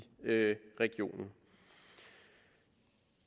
regionen